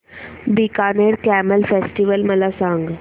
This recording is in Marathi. बीकानेर कॅमल फेस्टिवल मला सांग